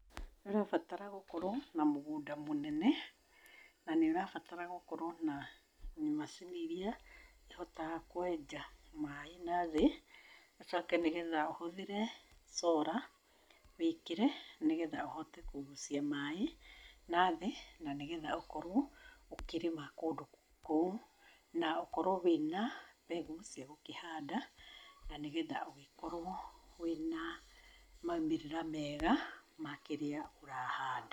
Nĩ ũrabatara gũkorwo na mũgunda mũnene na nĩ ũrabatara gũkorwo na macini iria ihotaga kwenja maaĩ nathĩ. Ũcoke nĩgetha ũhũthĩre solar, wĩkĩre nĩgetha ũhote kũgucia maaĩ nathĩ, na nĩgetha ũkorwo ũkĩrĩma kũndũ kũu. Na ũkorwo wĩna mbegũ cia gũkĩhanda na nĩgetha ũgĩkorwo wĩna maumĩrĩra mega ma kĩrĩa ũrahanda.